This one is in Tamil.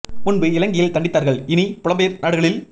முன்பு இலங்கையில் தண்டித்தார்கள் இனி புலம்பெயர் நாடுகளில்